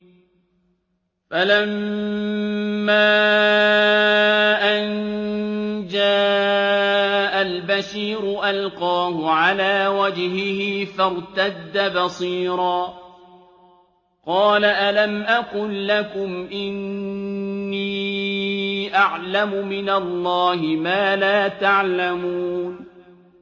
فَلَمَّا أَن جَاءَ الْبَشِيرُ أَلْقَاهُ عَلَىٰ وَجْهِهِ فَارْتَدَّ بَصِيرًا ۖ قَالَ أَلَمْ أَقُل لَّكُمْ إِنِّي أَعْلَمُ مِنَ اللَّهِ مَا لَا تَعْلَمُونَ